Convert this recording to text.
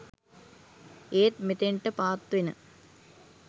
ඒත් මෙතෙන්ට පාත් වෙන